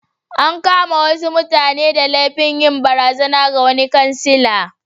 An kama wasu mutane da laifin yin barazana ga wani kansila.